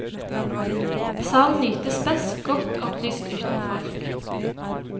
Salen nytes best godt opplyst uten folk.